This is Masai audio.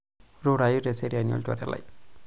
Rurai teseraiani olchore lai.